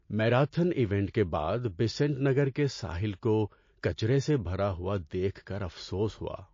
Marathon event کے بعد بیسنٹ نگر کے ساحل کو کچرے سے بھرا ہوا دیکھ کر افسوس ہوا۔